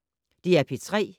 DR P3